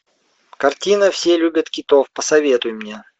картина все любят китов посоветуй мне